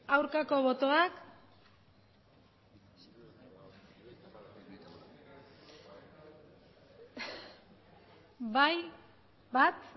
aurkako botoak bai bat